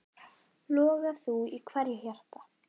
Loga þú í hverju hjarta.